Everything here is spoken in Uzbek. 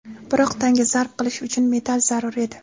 Biroq tanga zarb qilish uchun metall zarur edi.